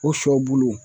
O sɔ bulu